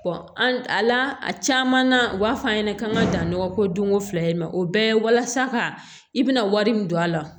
a la a caman na u b'a f'a ɲɛna k'an ka dan nɔgɔ ko don ko fila ye o bɛɛ ye walasa ka i bɛna wari min don a la